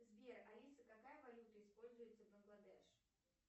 сбер алиса какая валюта используется бангладеш